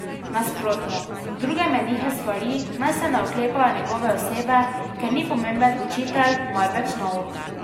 Nasprotno, druge menihe svari, naj se ne oklepajo njegove osebe, ker ni pomemben učitelj, marveč nauk.